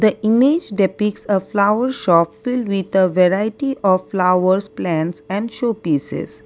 the image depics a flower shop filled with a variety of flowers plants and showpieces.